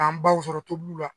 K'an baw sɔrɔ tobiliw la